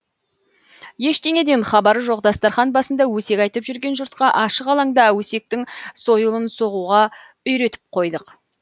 ештеңеден хабары жоқ дастархан басында өсек айтып жүрген жұртқа ашық алаңда өсектің сойылын соғуға үйретіп қойдық